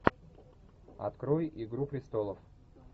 открой игру престолов